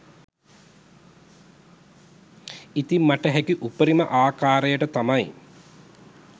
ඉතින් මට හැකි උපරිම ආකාරයට තමයි